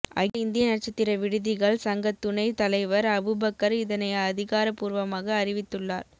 அகில இந்திய நட்சத்திர விடுதிகள் சங்க துணை தலைவர் அபுபக்கர் இதனை அதிகாரப்பூர்வமாக அறிவித்துள்ளார்